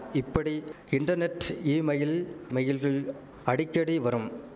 இப்படி internet email மயில்கள் அடிக்கடி வரும்